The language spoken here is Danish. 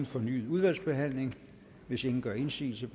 fornyet udvalgsbehandling hvis ingen gør indsigelse